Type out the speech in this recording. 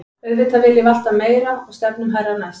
Auðvitað viljum við alltaf meira og stefnum hærra næst.